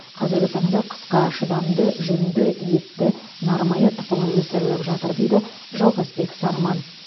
қазіргі таңда қысқа шыдамды жүнді етті нармая тұқымы өсіріліп жатыр дейді жалғасбек сарман